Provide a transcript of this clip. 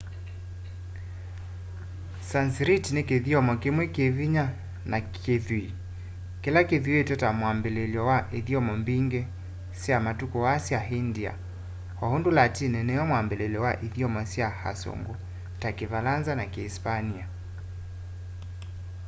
sanskrit ni kithyomo kimwe kivinya na kithw'ii kila kithiitwe ta mwabiliilyo wa ithyomo mbingi sya matuku aa sya india o undu latini niyo mwambiliilyo wa ithyomo sya asungu ta kivalanza na kiisipania